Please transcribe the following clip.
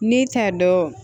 N'i ta dɔn